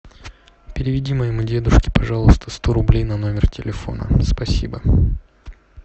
переведи моему дедушке пожалуйста сто рублей на номер телефона спасибо